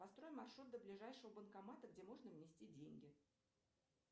построй маршрут до ближайшего банкомата где можно внести деньги